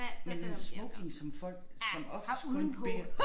Men en smoking som folk som oftest kun bærer